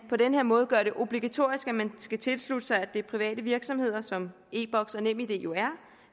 på den her måde gøres obligatorisk at man skal tilslutte sig at det er private virksomheder som e boks og nemid jo er